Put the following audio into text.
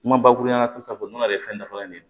Kuma bakuruba la k'u ta fɔ n'a ye fɛn dafalen ye